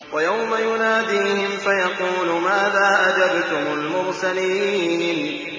وَيَوْمَ يُنَادِيهِمْ فَيَقُولُ مَاذَا أَجَبْتُمُ الْمُرْسَلِينَ